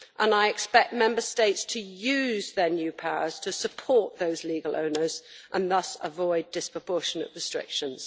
I expect Member States to use their new powers to support those legal owners and thus avoid disproportionate restrictions.